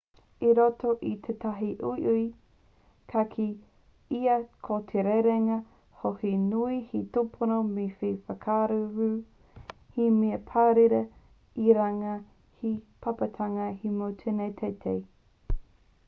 i roto i tetahi uiui ka kī ia ko te rerenga hou he nui te tupono he mea whakararu he mea pāwera i runga i te pāpātanga hemo tino teitei